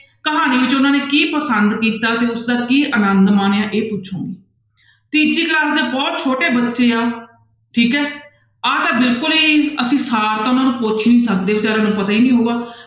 ਕਹਾਣੀ 'ਚ ਉਹਨਾਂ ਨੇ ਕੀ ਪਸੰਦ ਕੀਤਾ ਤੇ ਉਸਦਾ ਕੀ ਆਨੰਦ ਮਾਣਿਆ ਇਹ ਪੁੱਛੋਗੇ, ਤੀਜੀ class ਦੇ ਬਹੁਤ ਛੋਟੇ ਬੱਚੇ ਆ ਠੀਕ ਹੈ ਆਹ ਤਾਂ ਬਿਲਕੁਲ ਹੀ ਅਸੀਂ ਸਾਰ ਤਾਂ ਉਹਨਾਂ ਨੂੰ ਪੁੱਛ ਨੀ ਸਕਦੇ ਬੇਚਾਰਿਆਂ ਨੂੰ ਪਤਾ ਹੀ ਨੀ ਹੋਊਗਾ।